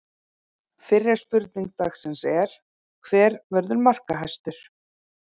Fyrri spurning dagsins er: Hver verður markahæstur?